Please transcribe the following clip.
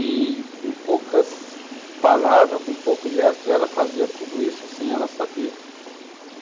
E com poucas palavras, com poucos gestos, ela fazia tudo isso sem ela saber.